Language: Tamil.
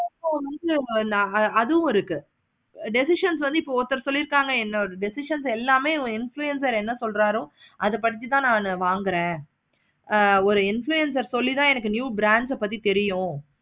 வந்து அதுவும் இருக்கு. decisions வந்து ஒருத்தர் சொல்லிருக்காங்க என்னோட decision எல்லாமே influencer என்ன சொல்றாராத பத்தி தான் நா வாங்குறான். ஆஹ் ஒரு influencer சொல்லி எனக்கு new branch பத்தி தெரியும்.